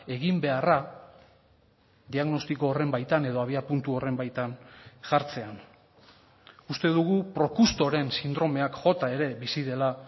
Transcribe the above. eginbeharra diagnostiko horren baitan edo abiapuntu horren baitan jartzea uste dugu procustoren sindromeak jota ere bizi dela